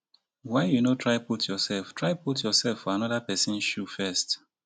why you no try put yoursef try put yoursef for anoda pesin shoe first?